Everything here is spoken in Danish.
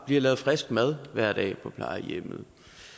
bliver lavet frisk mad hver dag på plejehjemmet